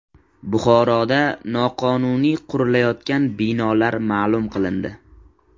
Buxoroda noqonuniy qurilayotgan binolar ma’lum qilindi.